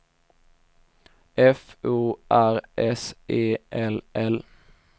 F O R S E L L